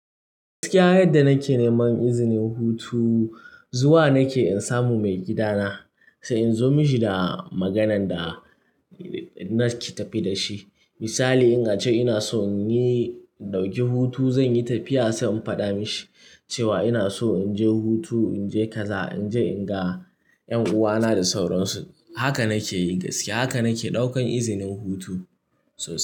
Gaskiya yadda nake neman izinin hutu zuwa nake in samu maigidana sai in zo mishi da maganan da nake tafe da shi. Misali in ace ina so in yi, in ɗauki hutu zanyi tafiya sai in faɗa mishi cewa ina so in je hutu, in je kaza, in je in ga 'yan uwana da sauransu. Haka nake yi gaskiya haka nake ɗaukan izinin hutu. So.